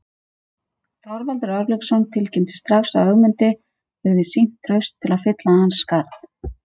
Þorvaldur Örlygsson tilkynnti strax að Ögmundi yrði sýnt traust til að fylla hans skarð.